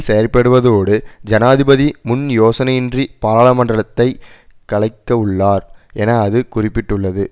செயற்படுவதோடு ஜனாதிபதி முன்யோசனையின்றி பாராளுமன்றளத்தை கலைக்கவுள்ளார் என அது குறிப்பிட்டுள்ளது